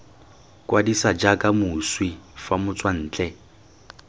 kwadisa jaaka moswi fa motswantle